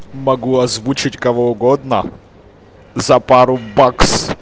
могу озвучить кого угодно за пару бакс